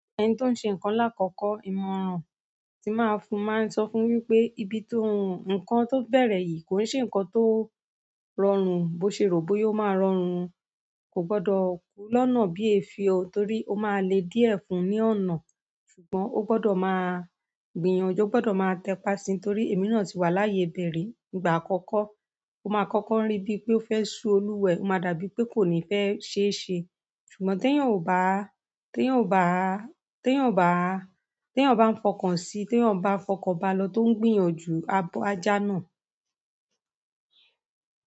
Ẹni to n ṣe nǹkan lakọkọ, ìmọ̀ràn ti máa fún, mo maa n sọ fún wipé, nǹkan to bẹrẹ yìí ko ṣe nǹkan to rọrùn bo ṣe ro bóyá o má rọrùn o, ko gbọdọ ku lọ́nà bíi èéfín o, torí o maa lé diẹ fún ni ọnà ṣùgbọ́n ó gbọdọ̀ máa gbìyànjú, ó gbọdọ̀ máa tẹpà síi torí èmi náà ti wà láyé ibẹ̀ ri. Ígbà àkọ́kọ́, ó máa kọ́kọ́ rí bí pé ó fẹ́ ṣú olùwa ẹ̀, ó máa dàbí pé kò ní fẹ́ ṣe é ṣe. Ṣùgbọ́n tí èèyàn n bá fọkàn sí i, tí èèyàn bá fọkàn bá a lọ tó ń gbìyànjú a jáná.